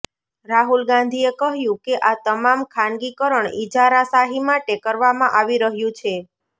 રાહુલ ગાંધીએ કહ્યું કે આ તમામ ખાનગીકરણ ઇજારાશાહી માટે કરવામાં આવી રહ્યું છે